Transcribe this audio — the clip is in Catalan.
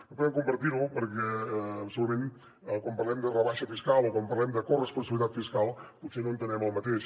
no podem compartir lo perquè segurament quan parlem de rebaixa fiscal o quan parlem de corresponsabilitat fiscal potser no entenem el mateix